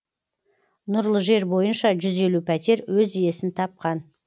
нұрлы жер бойынша жүз елу пәтер өз иесін тапқан